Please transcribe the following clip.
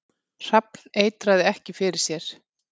Hrafn eitraði ekki fyrir sér